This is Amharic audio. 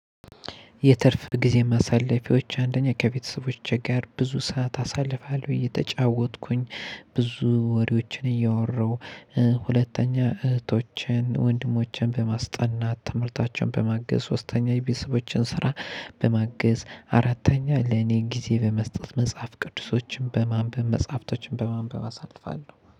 የትርፍ ጊዜ ማሳለፊያዎች አንደኛ ከቤተሰቦቼ ጋር ብዙ ሰዓት አሳልፋለሁ እየተጫወትኩኝ ብዙ ወሬዎችን እያወራሁ። ሁለተኛ እህቶቼን ወንድሞቼን በማስጠናት ትምህርታቸውን በማገዝ ሶስተኛ የቤተሰቦችን ስራ። በማገዝ አራተኛ ለኔ ጊዜ በመስጠት መጽሐፍ ቅዱሶችን በማንበብ መጽሐፍቶችን በማንበብ አሳልፋለሁ